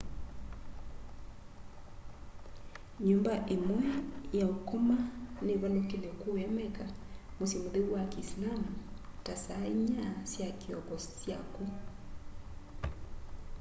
nyumba imwe ya ukoma nivalukile kuuya mecca musyi mutheu wa kiisilaamu ta saa inya sya kioko saa syaku